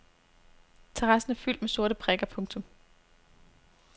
Terrassen er fyldt med sorte prikker. punktum